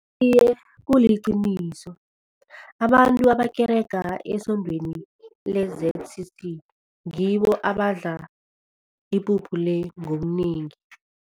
Iye, kuliqiniso abantu abakereka esondweni le-Z_C_C ngibo abadla ipuphu le ngobunengi.